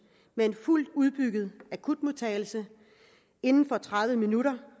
med en fuldt udbygget akutmodtagelse inden for tredive minutter